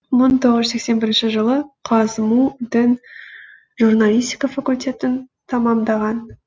мың тоғыз жүз сексен бірінші жылы қазму дің журналистика факультетін тамамдаған